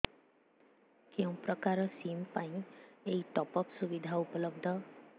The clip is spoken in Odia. କେଉଁ ପ୍ରକାର ସିମ୍ ପାଇଁ ଏଇ ଟପ୍ଅପ୍ ସୁବିଧା ଉପଲବ୍ଧ